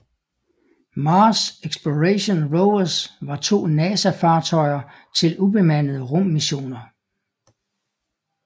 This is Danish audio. Mars Exploration Rovers var to NASA fartøjer til ubemandede rummissioner